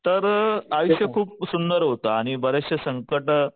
तर आयुष्य खूप सुंदर होतं आणि बरेचशे संकटं